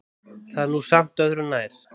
Það er nú samt öðru nær.